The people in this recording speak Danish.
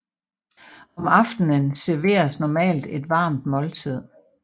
Om aftenen serveres normalt et varmt måltid